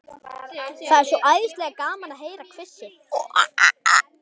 Það er svo æðislega gaman að heyra hvissið.